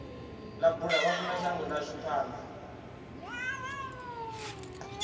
ḽa bula vhafunashango ḽashu panḓa